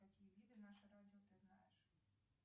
какие виды наше радио ты знаешь